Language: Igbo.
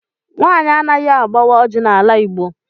Nwaanyị anaghị agbawa ọjị n'ala Igbo.